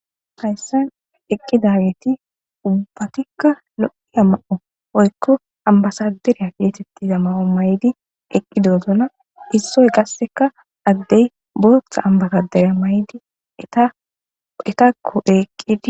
Hayssen eqqi dageti ubbatikka lo'i a ma'o oykko ambasaderiya geetettiza ma'o maydi eqqidozona issoy gasseka addey booththa ambazadera maydi etakko eeqqidi.